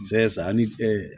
sa ani